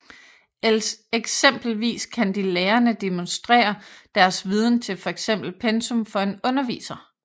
Eksempelvis kan de lærende demonstrere deres viden til fx pensum for en underviser